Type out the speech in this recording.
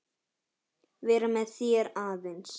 Vera með þér aðeins.